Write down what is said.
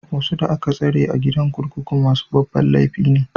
Wasu da aka tsare a gidan kurkuku masu babban laifi ne.